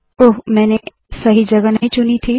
ओह मैंने सही जगह नहीं चुनी है